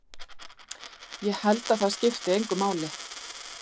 Ég held að það skipti engu máli.